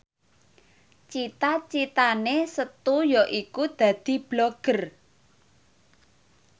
cita citane Setu yaiku dadi Blogger